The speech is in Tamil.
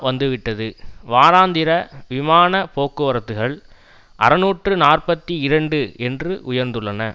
வந்துவிட்டது வாராந்திர விமான போக்குவரத்துகள் அறுநூற்று நாற்பத்தி இரண்டு என்று உயர்ந்துள்ளன